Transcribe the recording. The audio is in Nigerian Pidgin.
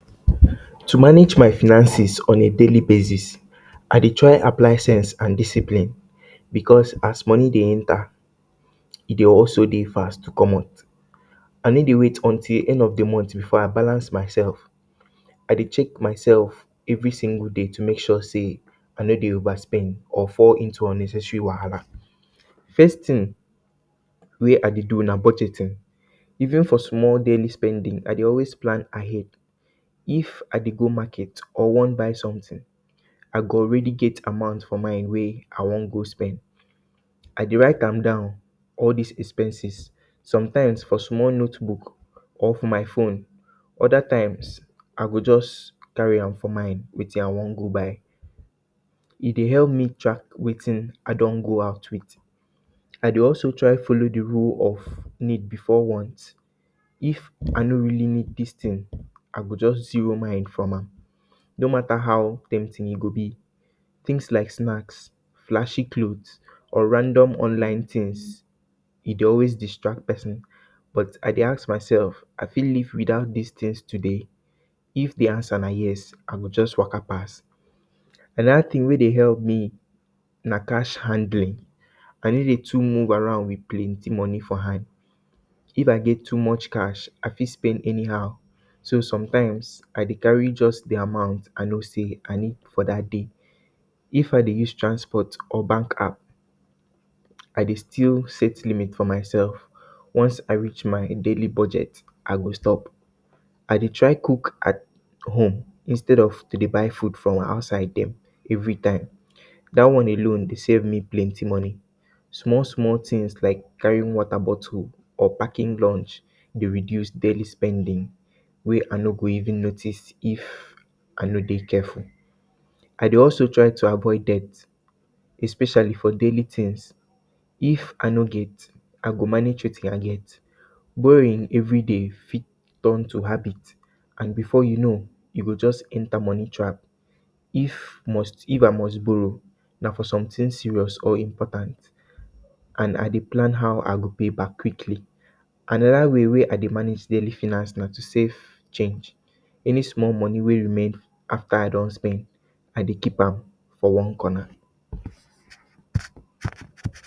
To manage my finances on a daily basis I dey try to apply sense and discipline because as money dey enter e dey also dey fast to comot. I no dey wait till end of de month before i balance myself, I dey always check myself every single day to make sure sey I no dey overspend or fall into unnecessary wahala. First thing wey I dey do na budgeting even for small daily spending I dey always plan ahead, if I dey go market or wan buy something I go already get amount for mind wey I wan go spend. I dey write am down all dis expenses sometimes for small notebook or for my phone other times I go just carry am for mind wetin I wan go buy. E dey help me track wetin I don go out with, I dey also try de rule of need before want if I no really need dis thing, I go just zero mind from am no mata how tempting e go be, things like snacks, flashy clothes or random online things e dey always distract persin, but I dey ask myself I fit live without dis things today if de answer na yes I go just waka pass. Another thing wey dey help me na cash handling I no dey too move around with plenty money for hand, if I get too much cash I fit spend anyhow. So sometimes I dey carry just de amount I know sey I need for dat day. If I dey use transport or bank app I dey still set limit for myself, once I reach my daily budget I go stop. I dey try cook at home instead of to dey buy food for um outside dem every time, dat one alone dey save me plenty money. Small small things like carrying water bottle or packing lunch dey reduce daily spending wey I no go even notice if I no dey careful. I dey also try to avoid debt especially for daily things if I no get I go manage wetin I get. Borrowing everyday fit turn to habit and before you know you go just enter money trap. If must, if I must borrow na for something serious or important and I dey plan how I dey pay back quickly. Anoda way wey I dey manage daily finance na to save change any small money wey remain after I don spend I dey keep am for one corner